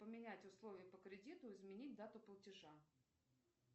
поменять условия по кредиту изменить дату платежа